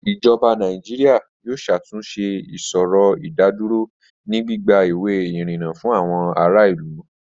Ijọba Nàìjíríà yóò ṣàtúnṣẹ̀ ìṣòrò ìdádúrò ni gbigba iwé irínńá fún àwọn àrà ilú